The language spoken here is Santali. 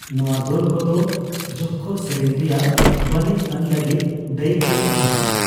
ᱱᱚᱣᱟ ᱫᱚᱞ ᱠᱚᱫᱚ ᱡᱚᱠᱠᱷᱚ ᱥᱮᱨᱮᱧ ᱨᱮᱭᱟᱜ ᱵᱟᱹᱱᱤᱡᱽᱟᱱ ᱞᱟᱹᱜᱤᱫ ᱫᱟᱹᱭᱤᱠᱚ ᱛᱟᱦᱮᱸᱠᱟᱱᱟ ᱾